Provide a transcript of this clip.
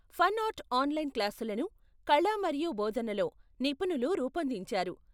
Fun art online క్లాసులను కళ మరియు బోధనలో నిపుణులు రూపొందించారు.